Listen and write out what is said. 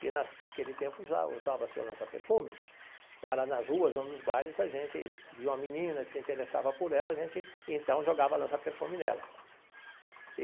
que naquele tempo já usava-se o lança-perfume, para nas ruas ou nos bares, a gente via uma menina e se interessava por ela, a gente então jogava lança-perfume nela.